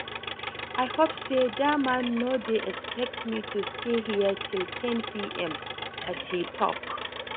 I hope say dat man no dey expect me to stay here till ten pm as he talk